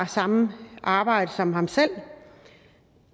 samme arbejde som ham selv og